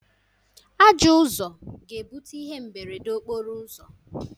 Ajọọ Ụzọ ga-ebute ihe mberede okporo ụzọ.